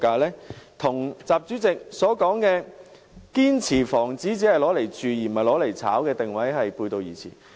這與習主席提到的"堅持房子是用來住的，不是用來炒的"的定位背道而馳。